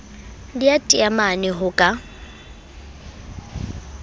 le ya taemane ho ka